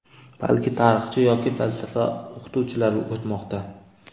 balki tarixchi yoki falsafa o‘qituvchilari o‘tmoqda.